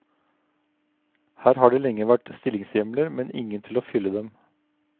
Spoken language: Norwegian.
Her har det lenge vært stillingshjemler, men ingen til å fylle dem.